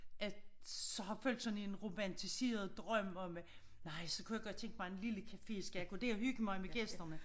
At så har fulgt sådan en romantiseret drøm om at nej så kunne jeg godt tænke mig en lille café så kan jeg gå og hygge mig med gæsterne